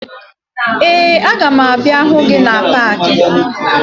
Ee, aga m abịa hụ gị na paakị